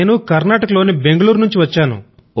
నేను కర్నాటక లోని బెంగుళూరు నుంచి వచ్చాను